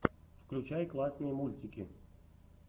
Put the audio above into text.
включай классные мультики